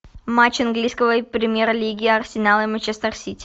матч английской премьер лиги арсенал и манчестер сити